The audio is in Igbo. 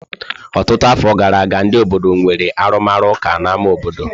Ọtụtụ afọ gara aga, ndị obodo nwere arụmụka n'ámá obodo.